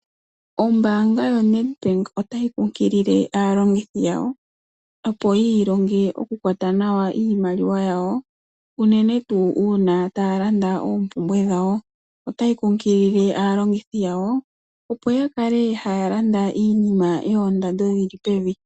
Ombaanga yoNedbank otayi kunkilile aalongithi yawo, opo yi ilonge okukwata nawa iimaliwa yawo, unene tuu uuna taa landa ompumbwe dhawo. Otayi kunkilile aalongithi yawo opo ya kale haa landa iinima yoondando dhi li pevi.